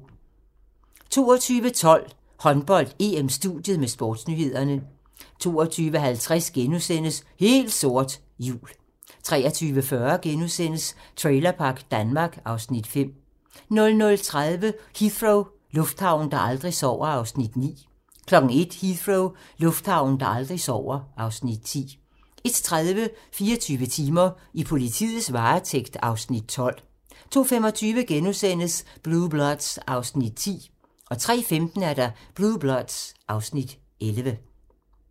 22:12: Håndbold: EM-studiet med sportsnyhederne 22:50: Helt sort - jul * 23:40: Trailerpark Danmark (Afs. 5)* 00:30: Heathrow - lufthavnen, der aldrig sover (Afs. 9) 01:00: Heathrow - lufthavnen, der aldrig sover (Afs. 10) 01:30: 24 timer: I politiets varetægt (Afs. 12) 02:25: Blue Bloods (Afs. 10)* 03:15: Blue Bloods (Afs. 11)